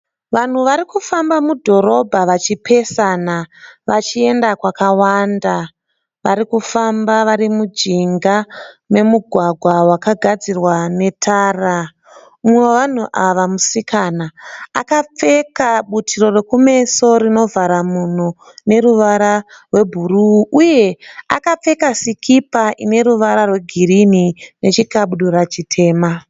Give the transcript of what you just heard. Vanhu vari kufamba mudhorobha vachipesana vachienda kwakawanda varikufamba vari mujinga memugwagwa wakagadzirwa netara. Mumwe wevanhu ava musikana akapfeka butiro rekumeso rinovhara mhuno rine ruwara rwe bhuruu uye akapfeka sikipa ine ruwara rwe girini ne chikabudura chitema.